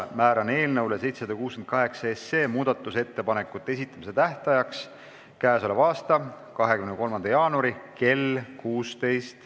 Määran eelnõu 768 muudatusettepanekute esitamise tähtajaks k.a 23. jaanuari kell 16.